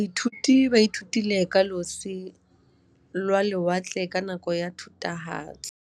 Baithuti ba ithutile ka losi lwa lewatle ka nako ya Thutafatshe.